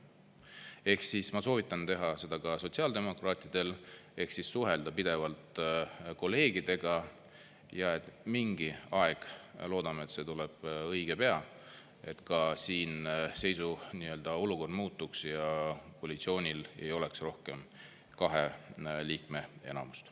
Ehk siis ma soovitan teha seda ka sotsiaaldemokraatidel, ehk siis suhelda pidevalt kolleegidega ja et mingi aeg – loodame, et see tuleb õige pea – ka siin seisu, nii-öelda olukord muutuks ja koalitsioonil ei oleks rohkem kahe liikme enamust.